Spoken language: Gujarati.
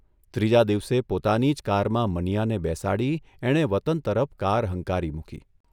ત્રીજા દિવસે પોતાની જ કારમાં મનીયાને બેસાડી એણે વતન તરફ કાર હંકારી મૂકી.